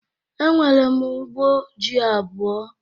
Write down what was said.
Enwere m ugbo ji abụọ